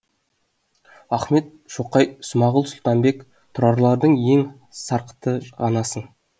ахмет шоқай смағұл сұлтанбек тұрарлардың сен сарқыты ғанасың